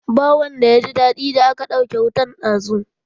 Ba wanda ya ji daɗi da aka ɗauke wutan dazu